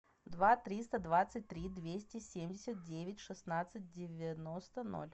два триста двадцать три двести семьдесят девять шестнадцать девяносто ноль